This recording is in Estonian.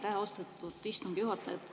Aitäh, austatud istungi juhataja!